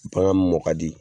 Bagan min mɔ ka di